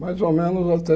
Mais ou menos até